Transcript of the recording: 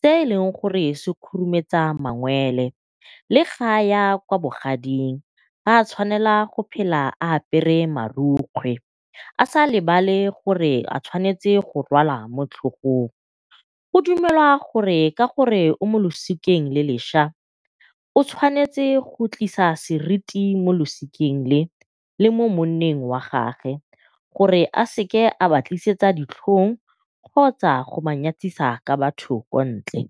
se e leng gore se khurumetsa mangole. Le ga a ya kwa bogading ga a tshwanela go phela a apere marukgwe, a sa lebale gore a tshwanetse go rwala mo tlhogong. Go dumelwa gore ka gore o mo losikeng le leša, o tshwanetse go tlisa seriti mo losikeng le, le mo monneng wa gage gore a seke a ba tlisetsa ditlhong kgotsa go ba nyatsisa ka batho ko ntle.